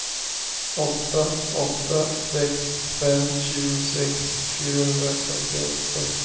åtta åtta sex fem tjugosex fyrahundrafyrtioåtta